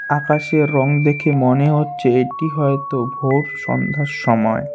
আকাশের রং দেখে মনে হচ্ছে এটি হয়তো ভোর সন্ধ্যার সময়।